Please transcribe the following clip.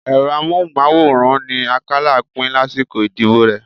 Ẹ̀rọ amóhùnmáwòrán ni Akálà pín lásìkò ìdìbò rẹ